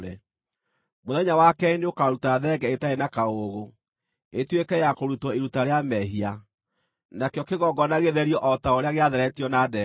“Mũthenya wa keerĩ nĩũkaruta thenge ĩtarĩ na kaũũgũ, ĩtuĩke ya kũrutwo iruta rĩa mehia, nakĩo kĩgongona gĩtherio o ta ũrĩa gĩatheretio na ndegwa.